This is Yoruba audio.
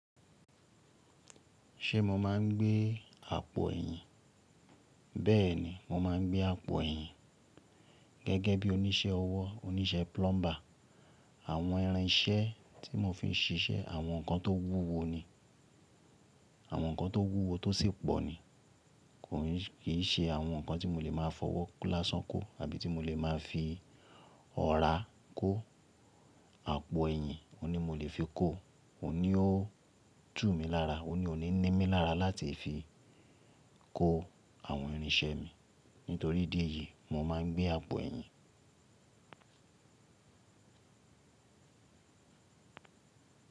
Ṣé mo máa ń gbé àpò ẹ̀yìn? Bẹ́ẹ̀ni, mo máa ń gbé àpò ẹ̀yìn. Gẹ́gẹ́ bí oníṣẹ́ ọwọ́, oníṣẹ́ plumber, àwọn irinṣẹ́ tí mo fi ń ṣiṣẹ́ àwọn nǹkan tó wúwo ni, àwọn nǹkan tó wúwo tó sì pọ̀ ni. Kò kiì ṣe àwọn nǹkan tí mo lè máa fọwọ́ kó lásán kó àbí ti mo lè máa fi ọ̀rá kó. Àpò ẹ̀yìn ò ní mo lè fi kó, ò ní ó tú mi lára, ò ní ó ní mí lára láti fi kó àwọn irinṣẹ́ mi. Nítorí idí èyí, mo máa ń gbé àpò ẹ̀yìn.